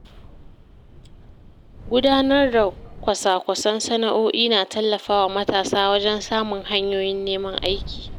Gudanar da kwasa-kwasan sana’o’i na tallafawa matasa wajen samun hanyoyin neman aiki.